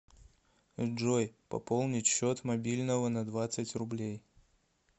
джой пополнить счет мобильного на двадцать рублей